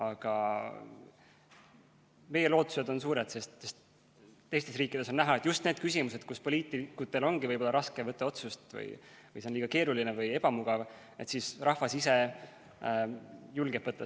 Aga meie lootused on suured, sest teistes riikides on näha, et just nendes küsimustes, mille kohta poliitikutel ongi võib-olla raske võtta vastu otsust, sest see on liiga keeruline või ebamugav, julgeb rahvas riskida.